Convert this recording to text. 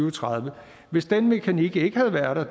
og tredive hvis den mekanik ikke havde været der